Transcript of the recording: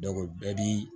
bɛɛ bi